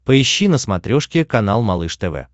поищи на смотрешке канал малыш тв